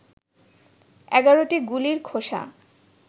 ১১টি গুলির খোসা